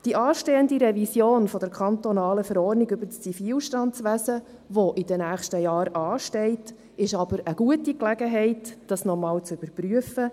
Die Revision der kantonalen Verordnung über das Zivilstandswesen (ZV), die in den nächsten Jahren ansteht, ist aber eine gute Gelegenheit, das noch einmal zu überprüfen.